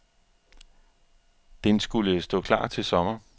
Denskulle stå klar til sommer.